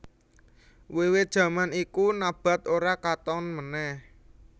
Wiwit jaman iku Nabath ora katon meneh